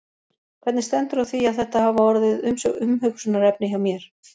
Hvernig stendur á því að þetta hafa orðið umhugsunarefni hjá mér?